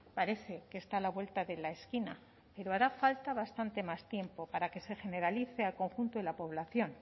parece que está a la vuelta de la esquina pero hará falta bastante más tiempo para que se generalice al conjunto de la población